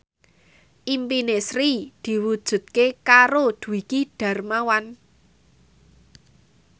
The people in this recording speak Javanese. impine Sri diwujudke karo Dwiki Darmawan